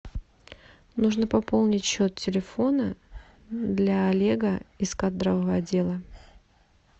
нужно пополнить счет телефона для олега из кадрового отдела